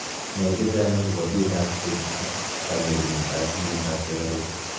nai chechang akopo piik ak keny ak kanyorunet ap mianda ap sugaruk